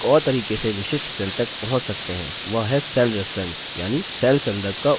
एक और तरीके से विशिष्ट cell तक पहुँच सकते हैं वह है cell reference यानि cell संदर्भ का उपयोग करके